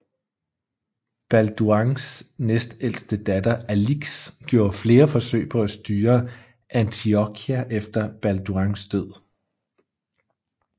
Balduins næstældste datter Alix gjorde flere forsøg på at styre Antiochia efter Balduins død